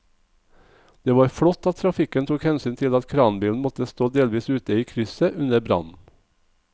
Det var flott at trafikken tok hensyn til at kranbilen måtte stå delvis ute i krysset under brannen.